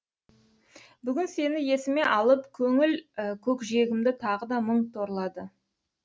бүгін сені есіме алып көңіл көкжиегімді тағы да мұң торлады